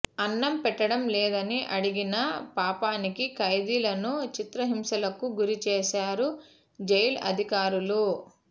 అన్నం పెట్టడం లేదని అడిగిన పాపానికి ఖైదీలను చిత్రహింసలకు గురి చేశారు జైలు అధికారులు